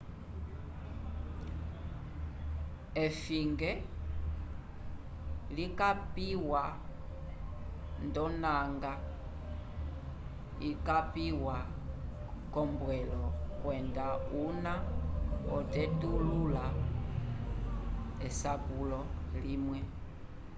esfinge likapiwa ndonanga yikapiwa k'ombwelo kwenda una otetulula esapulo limwe